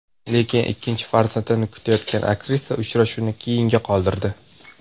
Lekin ikkinchi farzandini kutayotgan aktrisa uchrashuvni keyinga qoldirdi.